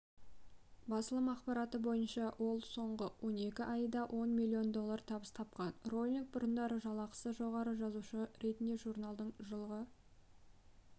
басылым ақпараты бойынша ол соңғы он екі айда ол миллион доллар табыс тапқан роулинг бұрындары жалақысы жоғары жазушы ретінде журналдың жылғы